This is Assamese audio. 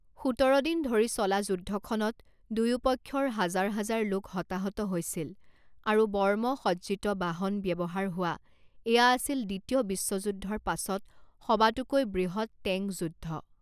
সোতৰ দিন ধৰি চলা যুদ্ধখনত দুয়োপক্ষৰ হাজাৰ হাজাৰ লোক হতাহত হৈছিল আৰু বৰ্মসজ্জিত বাহন ব্যৱহাৰ হোৱা এয়া আছিল দ্বিতীয় বিশ্বযুদ্ধৰ পাছত সবাতোকৈ বৃহৎ টেঙ্ক যুদ্ধ।